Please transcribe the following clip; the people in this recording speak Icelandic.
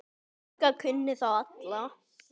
Helga kunni þá alla.